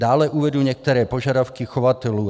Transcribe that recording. Dále uvedu některé požadavky chovatelů.